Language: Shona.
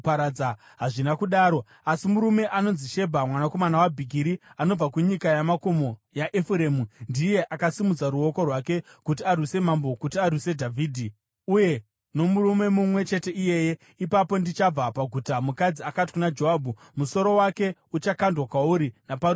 Hazvina kudaro. Asi murume anonzi Shebha mwanakomana waBhikiri, anobva kunyika yamakomo yaEfuremu, ndiye akasimudza ruoko rwake kuti arwise mambo, kuti arwise Dhavhidhi. Uyai nomurume mumwe chete iyeye, ipapo ndichabva paguta.” Mukadzi akati kuna Joabhu, “Musoro wake uchakandwa kwauri naparusvingo.”